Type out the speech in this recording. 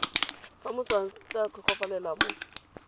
fa motswantle a tlhokofalela mo